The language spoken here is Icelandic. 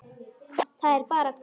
Það er bara gott.